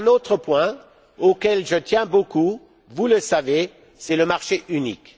Il est un autre point auquel je tiens beaucoup, vous le savez, c'est le marché unique.